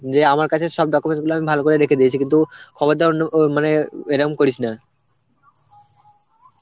যে আমার কাছে সব documents গুলো আমি ভালো করে রেখে দিয়েছি কিন্তু খবরদার অন্য ও মানে এরাম করিস না.